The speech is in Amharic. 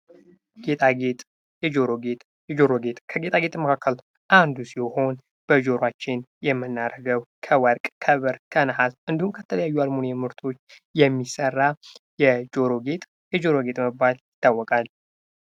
ጌጥጌጥ የጆሮ ጌጥ የጆሮ ጌጥ ከጌጣጌጥ መካከል አንዱ ሲሆን፤ በጆሯችን የምናደርገው ከወርቅ ፣ከብር ፣ከነሐስ፣ እንዲሁም ከተለያዩ አልሙኒየም ምርቶች የሚሰራ የጆሮ ጌጥ የጆሮ ጌጥ በመባል ይታወቃል።